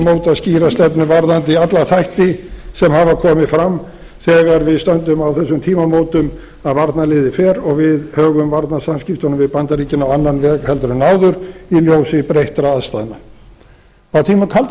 mótað skýra stefnu varðandi alla þætti sem hafa komið fram þegar við stöndum á þessum tímamótum að varnarliðið fer og við högum varnarviðskiptunum við bandaríkin á annan veg heldur en áður í ljósi breyttra aðstæðna á sömu kalda